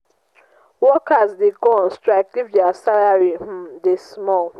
workers de go on strike if their salary um de small